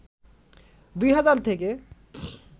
২হাজার থেকে